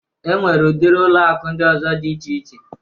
E nwere udiri ụlọ akụ ndị ọzọ dị iche iche